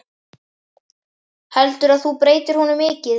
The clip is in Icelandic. Heldurðu að þú breytir honum mikið?